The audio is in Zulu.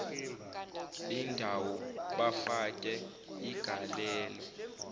bendawo bafake igalelo